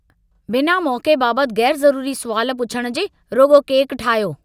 बिना मौक़े बाबति ग़ैरज़रूरी सुवाल पुछणु जे, रुॻो केक ठाहियो।